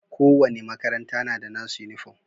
Ko wani makaranta na da nasu uniform.